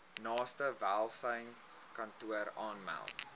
naaste welsynskantoor aanmeld